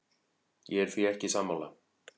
Ég er því ekki sammála.